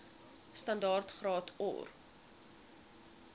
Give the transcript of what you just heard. standaard graad or